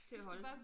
Til at holde